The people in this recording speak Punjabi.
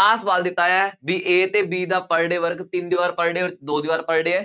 ਆਹ ਸਵਾਲ ਦਿੱਤਾ ਹੋਇਆ ਹੈ, ਬਈ A ਅਤੇ B ਦਾ per day work ਤਿੰਨ ਜ਼ਬਰ per day ਅੋਰ ਦੋ ਜ਼ਬਰ per day ਹੈ,